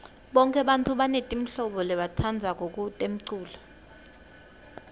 bonke bantfu banetimhlobo labatitsandzako temculo